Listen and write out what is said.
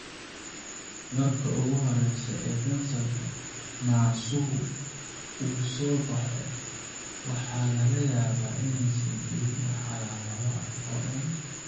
Marka ugu horraysa ee kansarka naasuhu uu soo baxo, waxaa laga yaabaa inaysan jirin wax calaamado ah oo dhan.